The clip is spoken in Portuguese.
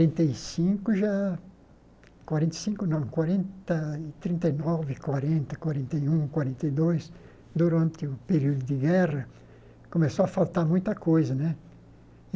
e cinco, já... quarenta e cinco, não, quarenta e... trinta e nove, quarenta, quarenta e um, quarenta e dois, durante o período de guerra, começou a faltar muita coisa, né?